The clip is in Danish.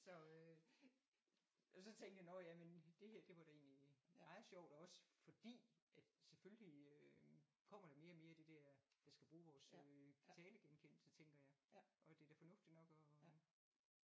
Så øh og så tænkte jeg nåh ja men det her det var det egentlig meget sjovt også fordi at selvfølgelig øh kommer der mere og mere det der der skal bruge vores øh talegenkendelse tænker jeg og det er da fornuftigt nok at